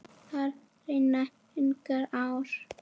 Þar renna engar ár.